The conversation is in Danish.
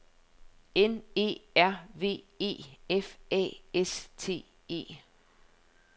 N E R V E F A S T E